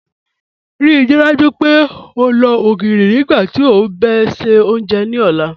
Ríí dájú pé ó lọ ogirí nígbàtí ó bá n ṣẹ ọ́njẹ̀ ni ọ̀lá.